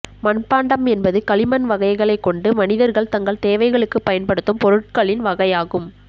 மட்பாண்டம் என்பது களிமண் வகைகளை கொண்டு மனிதர்கள் தங்கள் தேவவைகளுக்கு பயன் படுத்தும் பொருட்களின் வகை ஆகும்